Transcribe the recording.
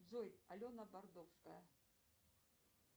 джой алена бордовская